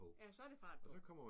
Ja så der fart på